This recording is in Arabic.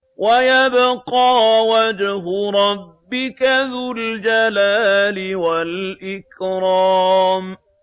وَيَبْقَىٰ وَجْهُ رَبِّكَ ذُو الْجَلَالِ وَالْإِكْرَامِ